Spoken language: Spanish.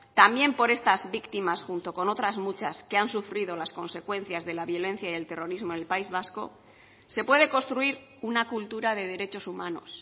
también por estas víctimas junto con otras muchas que han sufrido las consecuencias de la violencia y el terrorismo en el país vasco se puede construir una cultura de derechos humanos